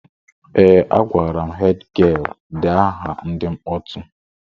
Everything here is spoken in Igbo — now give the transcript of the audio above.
Ee, a gwara hed gịel dee aha ndị mkpọtụ